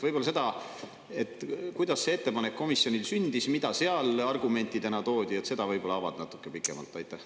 Võib-olla seda, kuidas see ettepanek komisjonis sündis ja mida seal argumentidena toodi, avad natuke pikemalt?